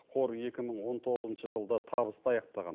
қор екі мың он тоғызыншы жылды табысты аяқтаған